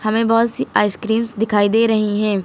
हमें बहोत सी आइसक्रीमस दिखाई दे रही है।